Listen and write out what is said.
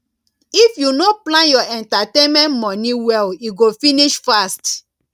if you no plan your entertainment money well e go finish fast